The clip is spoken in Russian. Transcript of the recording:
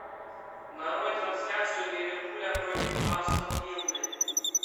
нарой трансляцию ливерпуля против астон виллы